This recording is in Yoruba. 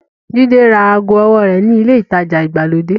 Jídé ra aago owó rẹ̀ ní ilé-ìtajà ìgbàlódé.